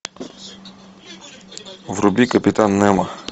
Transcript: вруби капитан немо